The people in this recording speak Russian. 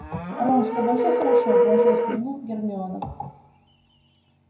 рон с тобой всё хорошо бросилась к нему гермиона